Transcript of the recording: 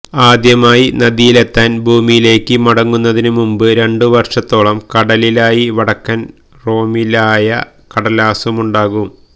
ആദ്യമായി നദിയിലെത്താൻ ഭൂമിയിലേക്ക് മടങ്ങുന്നതിനു മുമ്പ് രണ്ടു വർഷത്തോളം കടലിലായി വടക്കൻ രോമിലമായ കടലാസുമുണ്ടാകും